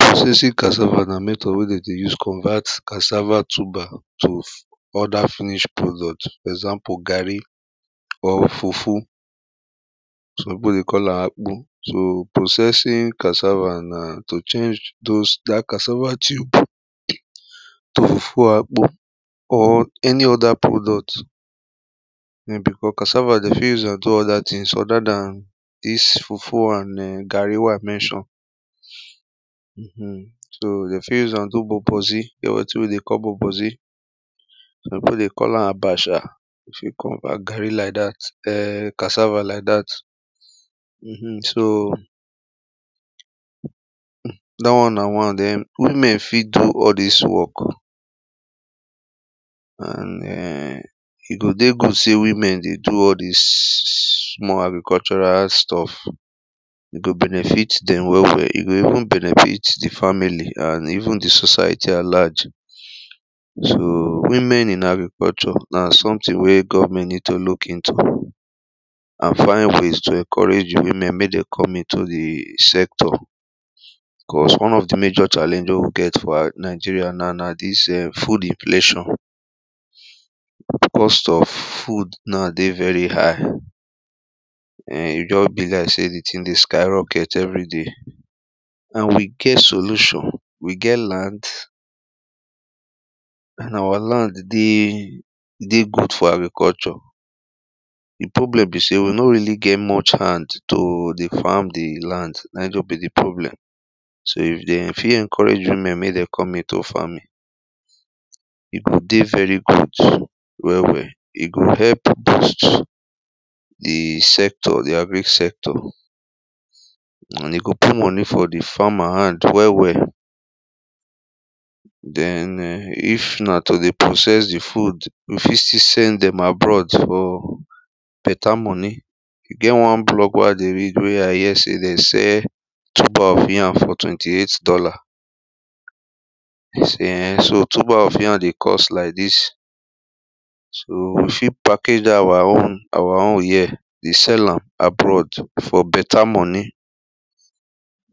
Processing cassava na method wey dem dey use convert cassava tuber to other finish product. For example garri or fufu Some people dey call am akpu So processing cassava na to change those that cassava tube to the full akpu or any other product um because cassava, dem fit use am do other thing other than this fufu and garri wen i mention um so dem fit use am do bobozi. E get wetin we dey call bobozi Some people dey call am abacha if you convert garri like dat um cassava like dat um so da one na one. Then women fit do all this work and um e go dey good sey women dey do all this small agricultural stuff E go benefit dem well well. E go even benefit the family and even the society at large So women in agriculture na sometin wey govment need to look into and find ways to encourage the women make dem come into the sector Cause one of the major challenge wey we get for Nigeria na this food inflation The cost of food na dey very high um e just be like sey the tin dey skyrocket everyday and we get solution. We get land and our land dey dey good for agriculture The problem be sey we nor really get much hand to dey farm the land na just be the problem So if dem fit encourage women make dem come into farming. E go dey very good well well. E go help boost the sector, the agric sector and e go put money for the farmer hand well well Then um if na to dey process the food, we fit still send dem abroad for better money. E get one blog wey i dey read wey i hear sey de sell tuber of yam for twenty eight dollar E sey um so tuber of yam dey cost like this So we fit package that our own, our own here dey sell am abroad for better money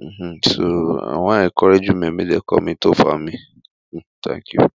um. So i wan encourage women make dem come into farming Thank you